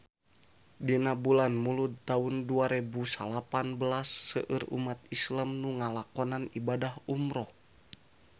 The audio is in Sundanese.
Dina bulan Mulud taun dua rebu salapan belas seueur umat islam nu ngalakonan ibadah umrah